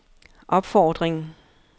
opfordring